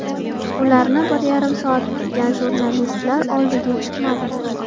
Ularni bir yarim soat kutgan jurnalistlar oldiga chiqmadi.